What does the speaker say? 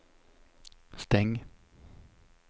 stäng